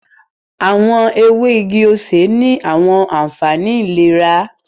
Awọn ewe igi osè ni awọn anfani ilera